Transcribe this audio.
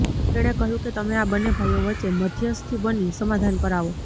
તેને કહ્યું કે તમે આ બંને ભાઈઓ વચ્ચે મધ્યસ્થી બની સમાધાન કરાવો